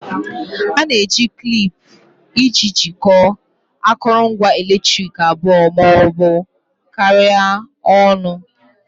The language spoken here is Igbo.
A na-eji klip iji jikọọ akụrụngwa eletriki abụọ ma ọ bụ karịa ọnụ